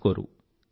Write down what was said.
తెలుసుకోరు